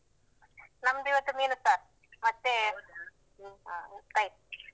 ನಮ್ದು ಇವತ್ತು ಮೀನು ಸಾರ್ ಮತ್ತೆ ಭೂತೈ.